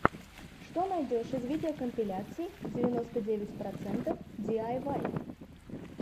что найдешь из видеокомпиляций девяносто девять процентов диайвай